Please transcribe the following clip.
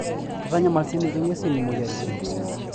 Keitanyamal siininche ngwesi moyiaritin.